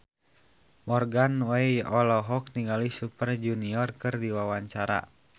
Morgan Oey olohok ningali Super Junior keur diwawancara